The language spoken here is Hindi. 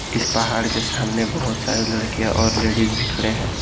इस पहाड़ के सामने बहुत सारे लड़के और लेडिस भी खड़े हैं।